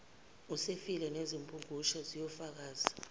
usefile nezimpungushe ziyakufakazela